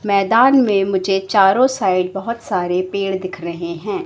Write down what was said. मैदान मे मुझे चारों साइड बहोत सारे पेड़ दिख रहे हैं।